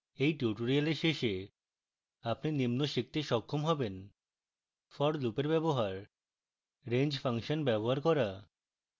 at tutorial শেষে আপনি নিম্ন শিখতে সক্ষম হবেন: